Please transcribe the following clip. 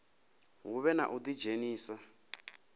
hu vhe na u ḓidzhenisa